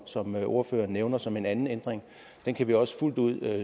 som ordføreren nævner som en anden ændring den kan vi også fuldt ud